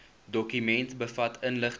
dokument bevat inligting